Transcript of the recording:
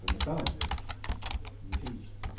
эмоционально конечно не физически